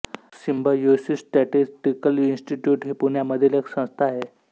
Symbiosis statistical institute ही पुण्यामधील एक संस्था आहे